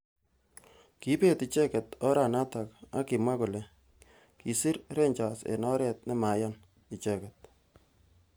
Kibet icheket oranatak ak kimwa kole kisir Rangers eng oret nemaiyan. icheket.